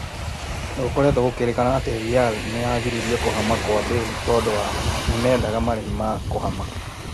Nĩ gũkoretwo gũkĩĩrĩkana atĩ Rĩ nĩ yagiririe kũhama kwa Mbale tondũ nĩmendaga marĩhi ma kũhama.